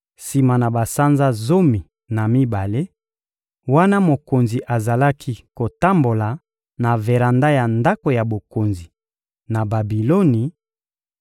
Sima na basanza zomi na mibale, wana mokonzi azalaki kotambola na veranda ya ndako ya bokonzi, na Babiloni,